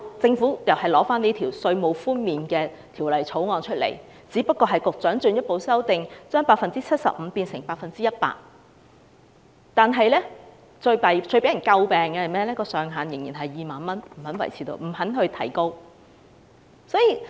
政府提出這項《條例草案》，只是把稅務寬免百分比由 75% 提高至 100%， 但最為人詬病的，是寬免上限仍然是2萬元，不願意提高。